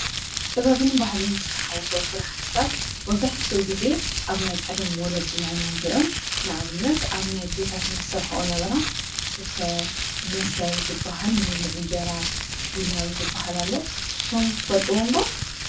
ጥበብን ባህልን ዝተሓዉሶ ስራሕትታት መብዛሕትኡ ጊዜ ኣብ ናይ ቀደም ወለድና ኢና ንርእዮ፡፡ ንኣብነት ኣብ ናይ ኣዴታትና ዝሰርሕኦ ዝነበራ ስፈ፣ መሶብ ዝበሃል መብልዒ እንጀራ፣ ሒላብ ዝበሃል ኣሎ፡፡ ንሶም ትፈልጥዎም ዶ?